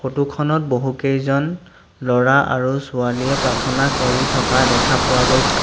photo খনত বহুকেইজন ল'ৰা আৰু ছোৱালীয়ে প্ৰাৰ্থনা কৰি থকা দেখা পোৱা গৈ--